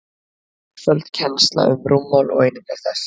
einföld kennsla um rúmmál og einingar þess